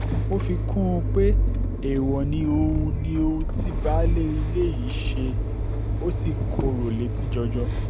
ó fi kún un pé èèwọ̀ ni ohun ni ohun tí baálé ilé yìí ṣe ó sì korò létí jọjọ